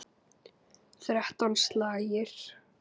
Þrettán slagir.